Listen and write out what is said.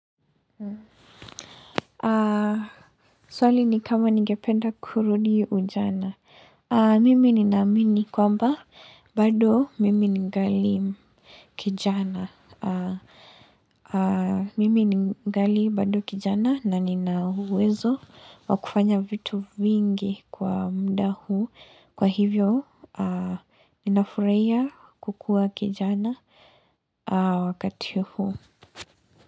Swali ni kama ningependa kurudi ujana. Mimi ninaamini kwamba bado mimi ningali kijana. Mimi ningali bado kijana na ninauwezo wakufanya vitu vingi kwa muda huu. Kwa hivyo ninafuraia kukua kijana wakati huu.